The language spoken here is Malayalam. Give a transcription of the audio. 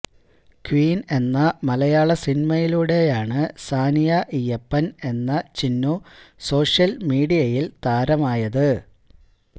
ക്വീന് എന്ന മലയാള സിനിമയിലൂടെയാണ് സാനിയ ഇയ്യപ്പന് എന്ന ചിന്നു സോഷ്യല്മീഡിയയില് താരമായത്